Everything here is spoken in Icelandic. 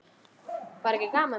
Var ekki gaman?